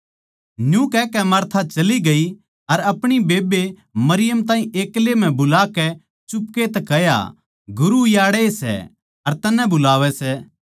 न्यू कहकै मार्था चली गयी अर अपणी बेब्बे मरियम ताहीं एक्ले म्ह बुलाकै चुपके तै कह्या गुरू याड़ैए सै अर तन्नै बुलावै सै